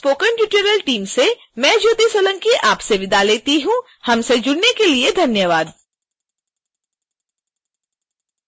यह ट्यूटोरियल इं अमित कुमार द्वारा अनुवादित है आईआईटी बॉम्बे की स्पोकन ट्यूटोरियल टीम से मैं ज्योति सोलंकी आपसे विदा लेती हूँ हमसे जुड़ने के लिए धन्यवाद